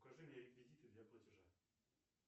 укажи мне реквизиты для платежа